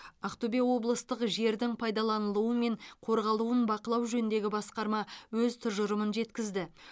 ақтөбе облыстық жердің пайдаланылуы мен қорғалуын бақылау жөніндегі басқарма өз тұжырымын жеткізді